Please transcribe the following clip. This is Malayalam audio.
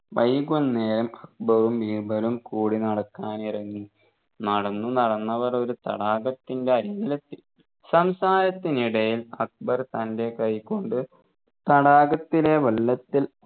വൈകുന്നേരം അക്ബറും ബീർബലും കൂടി നടക്കാൻ ഇറങ്ങി നടന്നു നടന്നവർ ഒരു തടാകത്തിൻെറ അരികിലെത്തി സംസാരത്തിനിടയിൽ അക്ബർ തൻെറ കൈകൊണ്ട് തടാകത്തിലെ വെള്ളത്തിൽ